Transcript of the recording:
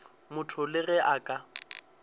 motho le ge a ka